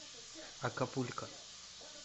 акапулько